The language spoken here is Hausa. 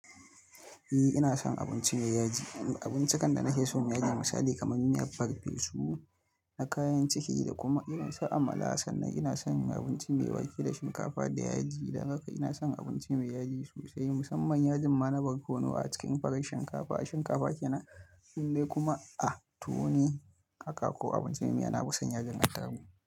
Eh ina son abinci mai yaji, abincikan da na ke so suyi misali kamar miya farfesu na kayan ciki da kuma irin su amala sannan ina son abinci mai wake da shinkafa da yaji. Dan haka ina son abinci mai yaji sosai musamman yajin ma na barkono a cikin farar shinkafa, a shinkafa kenan indai kuma a tuwo ne haka ko abinci mai miya na fisan yajin attarugu.